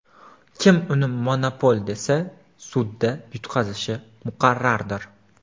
Kim uni monopol desa, sudda yutqazishi muqarrardir.